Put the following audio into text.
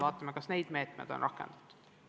Vaatame, kas meetmeid on rakendatud.